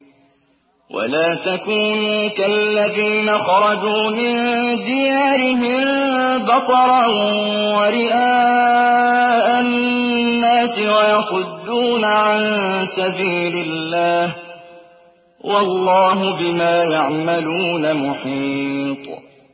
وَلَا تَكُونُوا كَالَّذِينَ خَرَجُوا مِن دِيَارِهِم بَطَرًا وَرِئَاءَ النَّاسِ وَيَصُدُّونَ عَن سَبِيلِ اللَّهِ ۚ وَاللَّهُ بِمَا يَعْمَلُونَ مُحِيطٌ